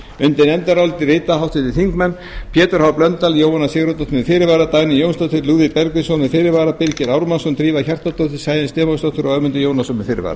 undir nefndarálitið rita pétur h blöndal jóhanna sigurðardóttir með fyrirvara dagný jónsdóttir lúðvík bergvinsson með fyrirvara birgir ármannsson drífa hjartardóttir sæunn stefánsdóttir og ögmundur jónasson með fyrirvara